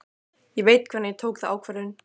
Ég veit hvenær ég tók þá ákvörðun.